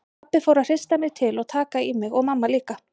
Pabbi fór að hrista mig til og taka í mig og mamma líka.